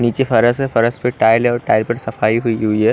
नीचे फर्श है फर्श पर टाइल्स है और टाइल्स पर सफाई हुई है।